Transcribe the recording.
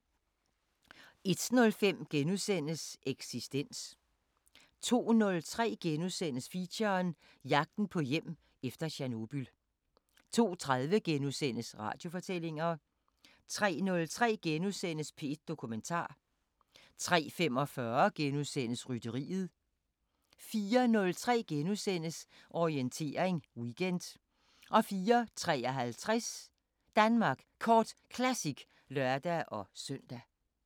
01:05: Eksistens * 02:03: Feature: Jagten på hjem efter Tjernobyl * 02:30: Radiofortællinger * 03:03: P1 Dokumentar * 03:45: Rytteriet * 04:03: Orientering Weekend * 04:53: Danmark Kort Classic (lør-søn)